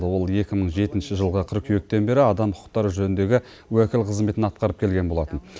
ол екі мың жетінші жылғы қыркүйектен бері адам құқықтары жөніндегі уәкіл қызметін атқарып келген болатын